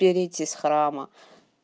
перейти с храма